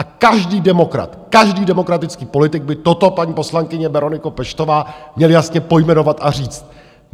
A každý demokrat, každý demokratický politik, by toto, paní poslankyně Bereniko Peštová, měl jasně pojmenovat a říct.